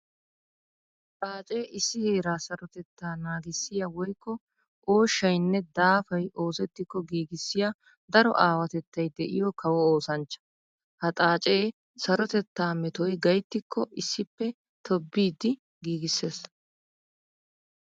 Xaace issi heera sarotetta naagissiya woykko ooshshaynne daafay oosetikko giigissiya daro aawatettay de'iyo kawo oosanchcha. Ha xaace sarotetta metoy gayttikko issippe tobbiddi giigisees.